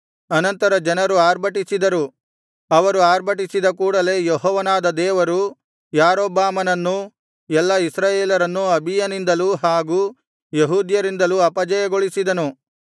ಅನಂತರ ಜನರು ಆರ್ಭಟಿಸಿದರು ಅವರು ಆರ್ಭಟಿಸಿದ ಕೂಡಲೆ ಯೆಹೋವನಾದ ದೇವರು ಯಾರೊಬ್ಬಾಮನನ್ನೂ ಎಲ್ಲಾ ಇಸ್ರಾಯೇಲರನ್ನೂ ಅಬೀಯನಿಂದಲೂ ಹಾಗೂ ಯೆಹೂದ್ಯರಿಂದಲೂ ಅಪಜಯಗೊಳಿಸಿದನು